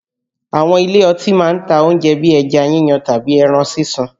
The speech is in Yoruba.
Àwọn ilé ọtí máa ń ta oúnjẹ bíi ẹja yíyan tàbí ẹran sísun